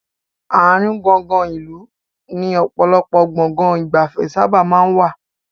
Àárín gùngùn ìlú ni ọ̀pọ̀lọpọ̀ Gbọ̀ngán ìgbafẹ́ sábà maa n wà